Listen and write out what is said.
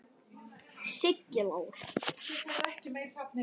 Siggi Lár.